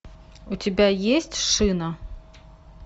у тебя есть шина